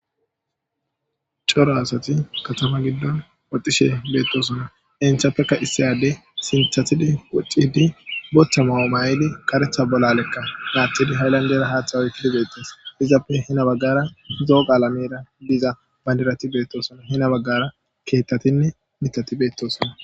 Cora asati katama giddon woxxishe doosona. Izapeka issi addey qasse sinthatidi bootha mayo mayidi karetha bolale aathidi haylandera haatha oykidi beetees. Izappe heni baggara zo'o qalamera diza bandirati beetosona. Heno baggara keethatinne miththati beetosona.